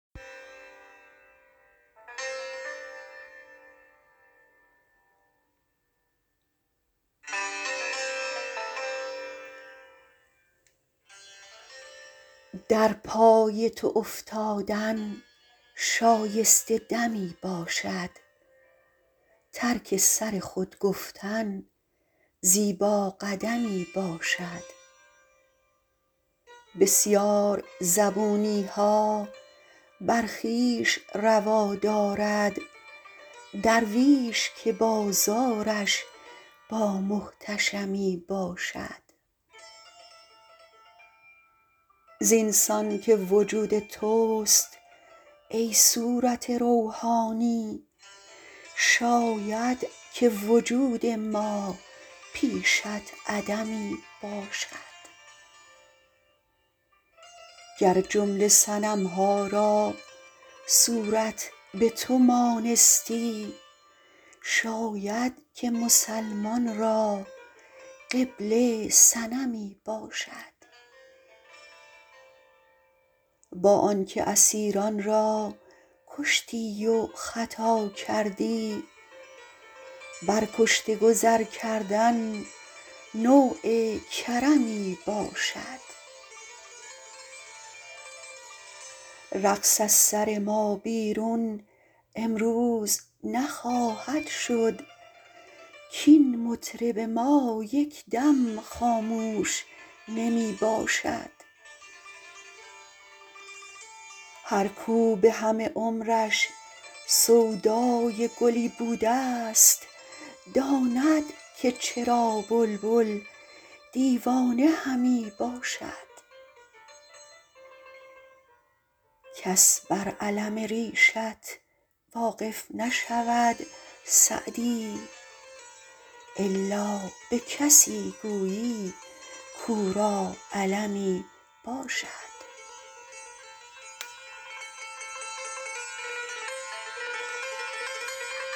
در پای تو افتادن شایسته دمی باشد ترک سر خود گفتن زیبا قدمی باشد بسیار زبونی ها بر خویش روا دارد درویش که بازارش با محتشمی باشد زین سان که وجود توست ای صورت روحانی شاید که وجود ما پیشت عدمی باشد گر جمله صنم ها را صورت به تو مانستی شاید که مسلمان را قبله صنمی باشد با آن که اسیران را کشتی و خطا کردی بر کشته گذر کردن نوع کرمی باشد رقص از سر ما بیرون امروز نخواهد شد کاین مطرب ما یک دم خاموش نمی باشد هر کاو به همه عمرش سودای گلی بوده ست داند که چرا بلبل دیوانه همی باشد کس بر الم ریشت واقف نشود سعدی الا به کسی گویی کاو را المی باشد